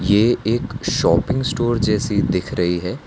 ये एक shopping store जैसी दिख रही है।